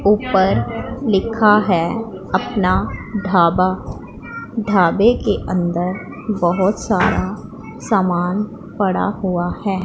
ऊपर लिखा है अपना ढाबा ढाबे के अंदर बहोत सारा सामान पड़ा हुआ है।